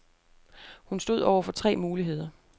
Hun stod over for tre muligheder.